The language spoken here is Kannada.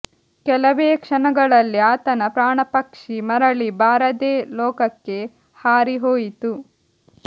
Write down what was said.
ಕೆಲವೇ ಕ್ಷಣಗಳಲ್ಲಿ ಆತನ ಪ್ರಾಣ ಪಕ್ಷಿ ಮರಳಿ ಬಾರದೆ ಲೋಕಕ್ಕೆ ಹಾರಿ ಹೋಯಿತು